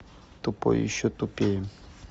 тупой и еще тупее